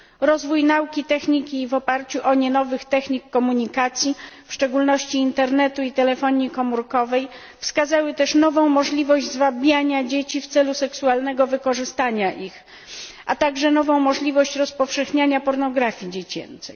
Rozwój nauki, a także techniki i w oparciu o nie nowych technik komunikacji, w szczególności Internetu i telefonii komórkowej, wskazały też nową możliwość zwabiania dzieci w celu seksualnego wykorzystania ich, a także nową możliwość rozpowszechniania pornografii dziecięcej.